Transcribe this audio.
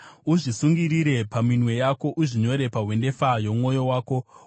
Uzvisungirire paminwe yako; uzvinyore pahwendefa yomwoyo wako.